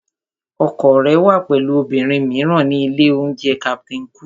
Ọkọ rẹ wà pẹ̀lú obìnrin mìíràn ní ilé-oúnjẹ Captain Cook